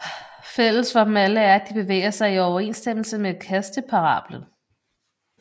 Fælles for dem alle er at de bevæger sig i overensstemmelse med kasteparablen